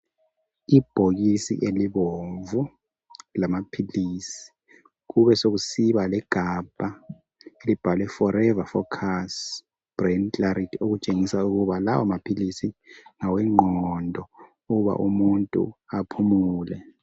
Ibhokisi elibomvu lamaphilisi kube sokusiba legabha elibhalwe forever focus brain clarity okutshengisela ukuba lawo maphilisi ngawengqondo uba umuntu aphumule